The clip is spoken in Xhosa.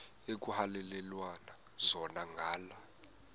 ekuhhalelwana zona ngala